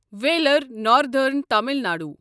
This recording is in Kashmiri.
wheeler northern Tamil Nadu